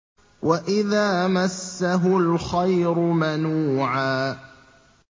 وَإِذَا مَسَّهُ الْخَيْرُ مَنُوعًا